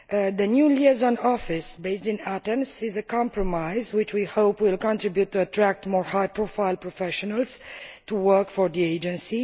The new Liaison Office based on Athens is a compromise, which we hope will contribute to attracting more high profile professionals to work for the Agency.